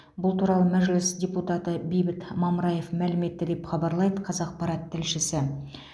бұл туралы мәжіліс депутаты бейбіт мамыраев мәлім етті деп хабарлайды қазақпарат тілшісі